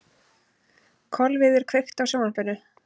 Kolviður, kveiktu á sjónvarpinu.